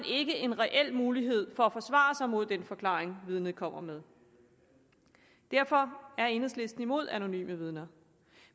ikke en reel mulighed for at forsvare sig mod den forklaring vidnet kommer med derfor er enhedslisten imod anonyme vidner